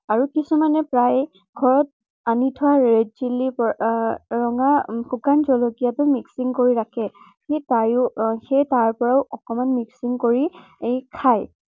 আৰু কিছুমানে প্ৰায়ে ঘৰত আনি থোৱা red chilli আহ ৰঙা শুকান জলকীয়টো mixing কৰি ৰাখে। আহ সেই তাৰ পৰাও অকনমান mixing কৰি এৰ খায়।